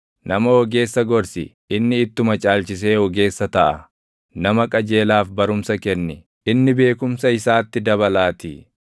Nama ogeessa gorsi; inni ittuma caalchisee ogeessa taʼaa; nama qajeelaaf barumsa kenni; inni beekumsa isaatti dabalaatii.